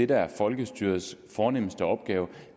der er folkestyrets fornemste opgave